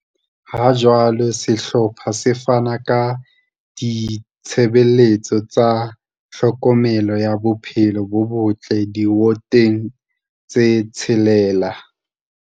Ha jwale sehlopha se fana ka ditshebeletso tsa tlhokomelo ya bophelo bo botle diwoteng tse tshelela.